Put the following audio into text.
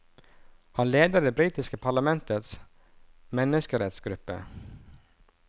Han leder det britiske parlamentets menneskerettsgruppe.